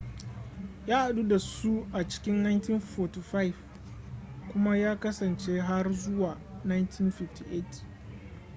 ya hadu da su a cikin 1945 kuma ya kasance har zuwa 1958